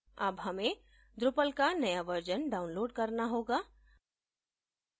अब हमें drupal का नया version download करना होगा